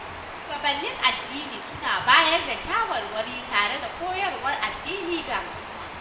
Shugabannin addinai suna bayar da shawarwari tare da koyarwar addini ga al'umma